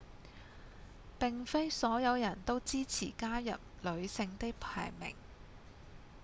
並非所有人都支持加入女性的排名